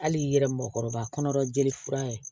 Hali i yɛrɛ mɔgɔkɔrɔba kɔnɔ jeli fura ye